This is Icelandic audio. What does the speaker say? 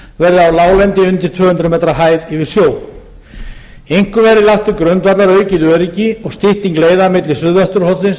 verði á láglendi undir tvö hundruð m hæð yfir sjó einkum verði lagt til grundvallar aukið öryggi og stytting leiða milli suðvesturhornsins